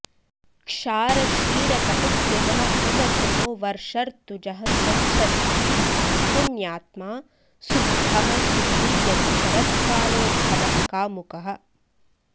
क्षारशीरकटुप्रियः उवचनो वर्षर्तुजः स्वच्छधीः पुण्यात्मा सुभ्खः सुखी यदि शरत्कालोद्भवः कामुकः